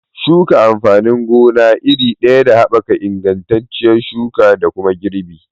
Shuka amfanin gona iri ɗaya yana haɓaka ingantacciyar shuka da kuma girbi